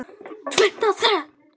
Tvennt af þrennu.